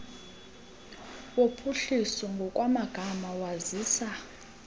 wophuhliso ngokwamagama wazisa